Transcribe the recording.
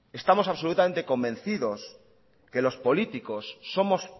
estamos absolutamente convencidos que los políticos somos